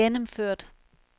gennemført